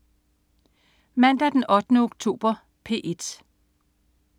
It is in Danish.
Mandag den 8. oktober - P1: